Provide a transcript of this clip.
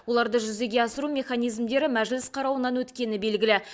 оларды жүзеге асыру механизмдері мәжіліс қарауынан өткені белгілі